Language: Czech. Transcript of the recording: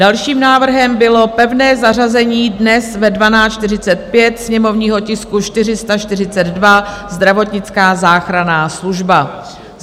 Dalším návrhem bylo pevné zařazení dnes ve 12.45 sněmovního tisku 442, zdravotnická záchranná služba.